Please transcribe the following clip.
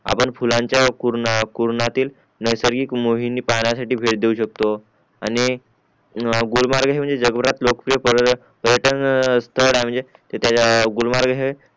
आपण फुलांचा कुर्णय कुर्ण्यातील नैसर्गिक मोहिनी पाहण्या साठी भेट देऊ शकतो आणि गुलमर्ग म्हणजे हे जगभरात लोकप्रिय पर्यटक स्टाल आहे म्हणजे तिथे गुलमर्ग हे